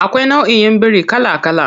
Akwai nauʼin biri kala kala.